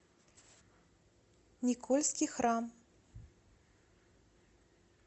никольский храм